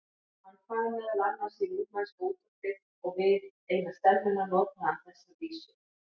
Hann kvað meðal annars í rúmenska útvarpið og við eina stemmuna notaði hann þessa vísu